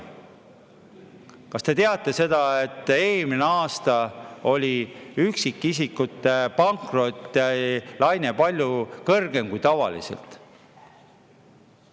Kas te teate seda, et eelmine aasta oli üksikisikute pankrottide laine palju kõrgem kui tavaliselt?